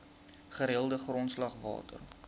gereelde grondslag water